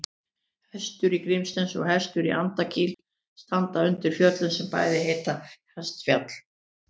Hestur í Grímsnesi og Hestur í Andakíl standa undir fjöllum sem bæði heita Hestfjall.